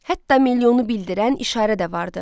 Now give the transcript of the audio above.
Hətta milyonu bildirən işarə də vardı.